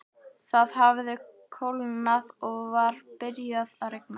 Það hafði kólnað og var byrjað að rigna.